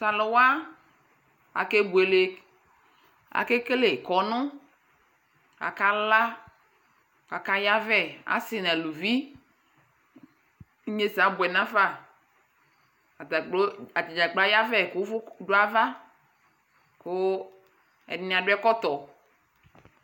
Tʋ alʋ wa, akebuele Akekele kɔnʋ Akala kʋ akayavɛ asɩ nʋ aluvi Inyesɛ abʋɛ nafa Ata kplo, ata dza kplo ayavɛ kʋ ʋvʋ dʋ ava kʋ ɛdɩnɩ adʋ ɛkɔtɔ